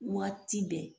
Waati bɛɛ